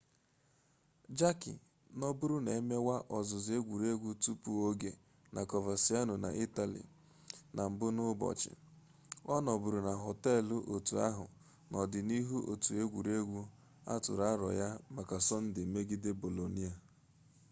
jarque nọbụrụ na-emewa ọzụzụ egwuregwu tupu-oge na coverciano na itali na mbụ n'ụbọchị ọ nọbụrụ na họteelụ otu ahụ n'ọdịnihu otu egwuregwu atụrụ arọ ya maka sọnde megide bolonia